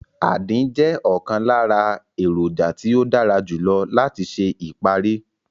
Àdín jẹ́ ọ̀kan lára èròjà tí ó dára jù lọ láti ṣe ìparí